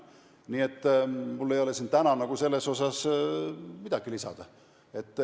Nii et mul ei ole siin täna selle kohta midagi lisada.